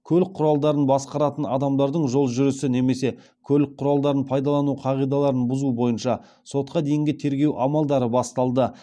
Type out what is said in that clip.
бойынша сотқа дейінгі тергеу амалдары басталды